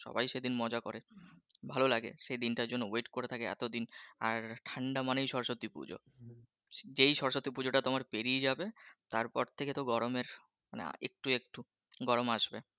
সবাই সেদিন মজা করে ভালো লাগে সেদিনটা জন্য বিট করে থাকে এতো দিন আর ঠাণ্ডা মানেই সরস্বতী পূজো যেই সরস্বতী পুজোটা তোমার পেরিয়ে যাবে তারপর থেকে তো গরমের মানে একটু একটু গরম আসবে